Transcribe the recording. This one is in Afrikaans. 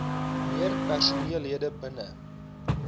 meer personeellede binne